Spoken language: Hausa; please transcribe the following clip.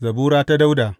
Zabura ta Dawuda.